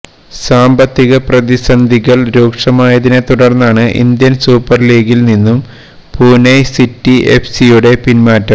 സാമ്പത്തിക പ്രസിന്ധികള് രൂക്ഷമായതിനെ തുടര്ന്നാണ് ഇന്ത്യന് സൂപ്പര് ലീഗില് നിന്നും പൂനെ സിറ്റി എഫ്സിയുടെ പിന്മാറ്റം